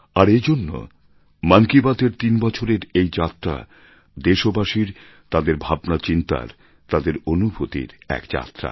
আর এজন্য মন কি বাত এর তিন বছরের এই যাত্রা দেশবাসীর তাদের ভাবনাচিন্তার তাদের অনুভূতির এক যাত্রা